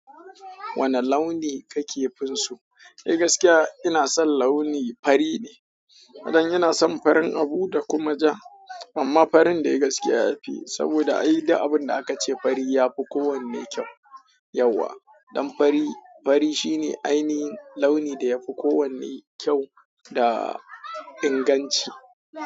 Wane launi ka ke fin so? Ni dai gaskiya ina son launi fari ne. Don yana son farin abu da kuma ja. Amma farin dai gaskiya ya fi, saboda ai duk abun da aka ce fari ya fi kowanne kyau. Yauwa, ɗan fari, fari shi ne ainihin launin da yafi kowanne kyau da inganci.